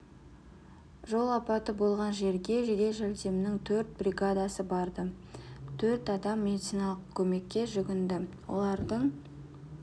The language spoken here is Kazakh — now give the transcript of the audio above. жол апаты болған жерге жедел жәрдемнің төрт бригадасы барды төрт адам медициналық көмекке жүгінді олардың